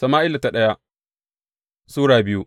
daya Sama’ila Sura biyu